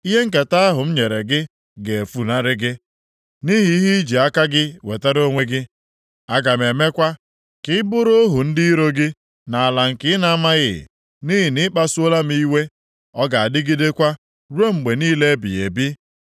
Ihe nketa ahụ m nyere gị ga-efunarị gị, nʼihi ihe i ji aka gị wetara onwe gị. Aga m emekwa ka ị bụrụ ohu ndị iro gị nʼala nke ị na-amaghị, nʼihi na ị kpasuola iwe m, ọ ga-adịgidekwa ruo mgbe niile ebighị ebi.”